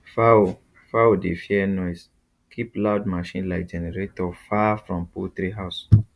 fowl fowl dey fear noise keep loud machine like generator far from poultry house